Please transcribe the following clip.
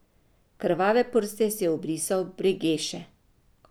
Krvave prste si je obrisal v bregeše.